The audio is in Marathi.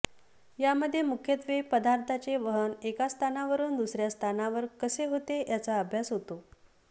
या मध्ये मुख्यत्वे पदार्थाचे वहन एका स्थानावरुन दुसऱ्या स्थानावर कसे होते याचा अभ्यास होतो